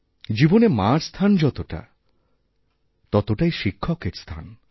জীবনে মারস্থান যতটা ততটাই শিক্ষকের স্থান